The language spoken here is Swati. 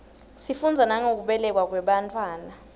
sifundza nangekubelekwa kwebantfwana